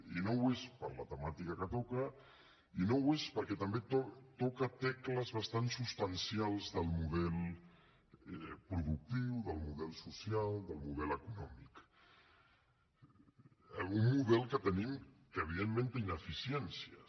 i no ho és per la temàtica que toca i no ho és perquè també toca tecles bastant substancials del model productiu del model social del model econòmic un model que tenim que evidentment té ineficiències